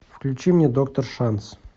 включи мне доктор шанс